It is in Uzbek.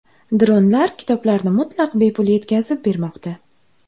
Dronlar kitoblarni mutlaq bepul yetkazib bermoqda.